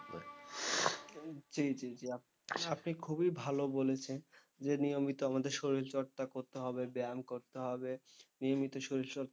জি জি জি আপনি খুবই ভালো বলেছেন যে নিয়মিত আমাদের শরীরচর্চা করতে হবে ব্যায়াম করতে হবে নিয়মিত শরীরচর্চা,